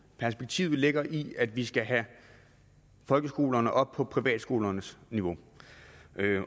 perspektivet ligger i at vi skal have folkeskolerne op på privatskolernes niveau